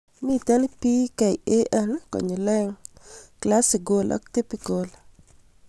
Mito PKAN konyil aeng' Classical ak Typical